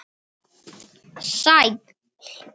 Sæll